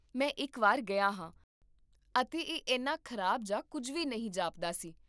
ਮੈਂ ਇੱਕ ਵਾਰ ਗਿਆ ਹਾਂ, ਅਤੇ ਇਹ ਇੰਨਾ ਖ਼ਰਾਬ ਜਾਂ ਕੁੱਝ ਵੀ ਨਹੀਂ ਜਾਪਦਾ ਸੀ